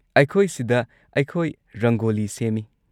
ꯑꯩꯈꯣꯏꯁꯤꯗ ꯑꯩꯈꯣꯏ ꯔꯪꯒꯣꯂꯤ ꯁꯦꯝꯃꯤ꯫